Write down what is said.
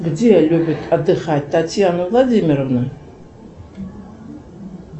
где любит отдыхать татьяна владимировна